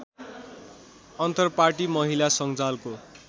अन्तरपार्टी महिला संजालको